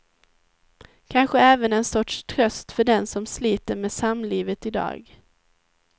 Kanske även en sorts tröst för den som sliter med samlivet i dag.